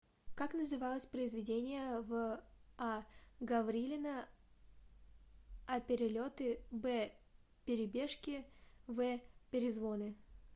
как называлось произведение в а гаврилина а перелеты б перебежки в перезвоны